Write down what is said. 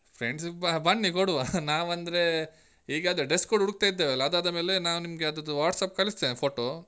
Friends ಬನ್ನಿ ಕೊಡುವಾ ನಾವಂದ್ರೆ ಈಗ ಅದೇ dress code ಹುಡುಕ್ತಾ ಇದೆವಲ್ಲ ಅದು ಆದಮೇಲೆ ನಾವು ನಿಮ್ಗೆ ಅದ್ರದ್ದು WhatsApp ಕಳಿಸ್ತೇನೆ photo.